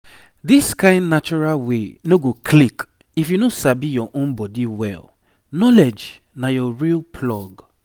this kain natural way no go click if you no sabi your own body well knowledge na your real plug.